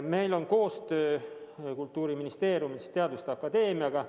Meil on Kultuuriministeeriumis koostöö teaduste akadeemiaga.